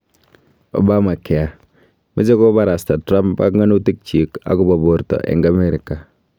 Obamacare: Meche koborosta Trump panganutik chiik akobo borto eng Amerika